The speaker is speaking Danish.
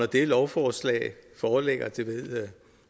det lovforslag foreligger det ved